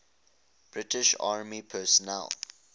british army personnel